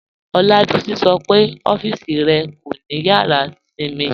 Olabisi sọ́ pe ọffísì rẹ kò ni yàrà ìṣinmí